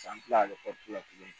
San tilalen kɔfɛ tuguni